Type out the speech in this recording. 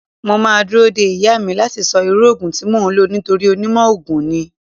Mo máa dúró de ìyá mi láti sọ irú Ògùn tí máa lò nítorí onímọ̀ ogun ni.